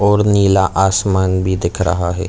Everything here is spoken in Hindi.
और नीला आसमान भी दिख रहा है।